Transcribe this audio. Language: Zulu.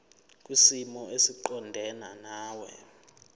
kwisimo esiqondena nawe